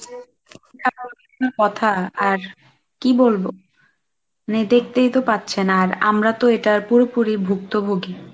এমন কি কথা আর কি বলবো? মানে দেখতেই তো পারছেন আর আমরা তো এটার পুরোপুরি ভুক্তভোগী।